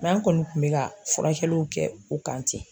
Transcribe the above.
an kɔni kun bɛ ka furakɛliw kɛ o kan ten.